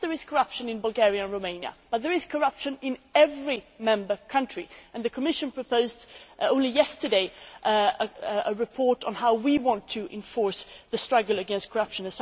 Yes, there is corruption in Bulgaria and Romania, but there is corruption in every Member State, and the Commission proposed only yesterday a report on how we want to enforce the struggle against corruption.